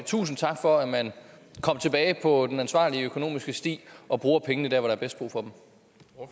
tusind tak for at man kom tilbage på den ansvarlige økonomiske sti og bruger pengene der hvor der er mest brug for